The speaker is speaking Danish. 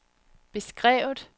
beskrevet